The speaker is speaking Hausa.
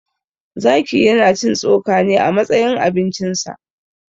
Zaki ya na cin tsoka ne a matsayin abincin sa.